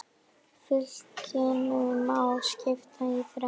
Fylkinu má skipta í þrennt.